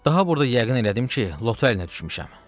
Daha burda yəqin elədim ki, lotkaya düşmüşəm.